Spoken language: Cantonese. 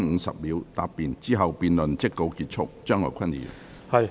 之後辯論即告結束。